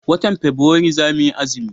watan fabuari zamu yi azumi